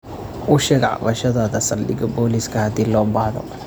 U sheeg cabashadaada saldhigga booliska haddi loo bahdoo.